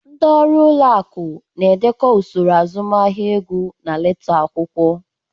Ndị ọrụ ụlọ akụ na-edekọ usoro azụmahịa ego na leta akwụkwọ.